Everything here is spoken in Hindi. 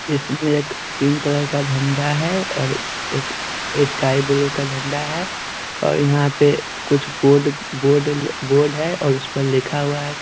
इसमें एक पिंक कलर का झंडा है और एक स्काई ब्लू का झंडा है और यहाँ पे कुछ बोर्ड बोर्ड बोर्ड है और उस पर लिखा हुआ है।